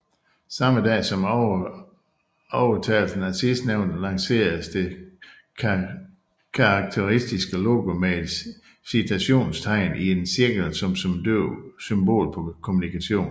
Samme år som overtagelsen af sidstnævnte lanceredes det karakteristiske logo med et citationstegn i en cirkel som symbol på kommunikation